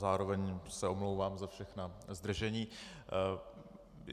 Zároveň se omlouvám za všechna zdržení.